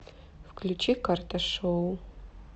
включи карташоу